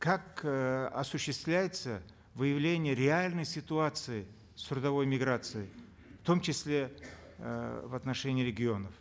как э осуществляется выявление реальной ситуации с трудовой миграцией в том числе э в отношении регионов